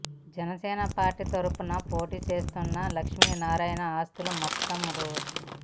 Janasena party తరఫున పోటీ చేస్తున్న లక్ష్మీనారాయణ ఆస్తులు మొత్తం రూ